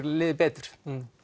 liðið betur